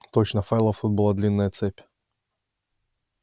точно файлов тут была длинная цепь